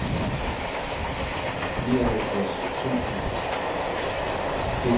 nioghalvtreds tusind et hundrede og tolv